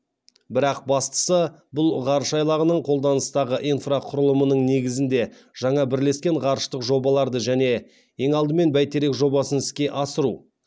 бірақ бастысы бұл ғарыш айлағының қолданыстағы инфрақұрылымының негізінде жаңа бірлескен ғарыштық жобаларды және ең алдымен бәйтерек жобасын іске асыру